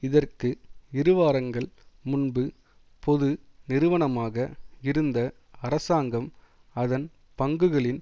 இதற்கு இருவாரங்கள் முன்பு பொது நிறுவனமாக இருந்த அரசாங்கம் அதன் பங்குகளின்